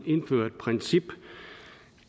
indføre et princip